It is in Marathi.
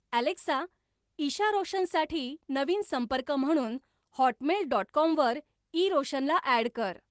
एलेक्सा इशा रोशनसाठी नवीन संपर्क म्हणून हॉटमेल डॉट कॉमवर इरोशनला ॲड कर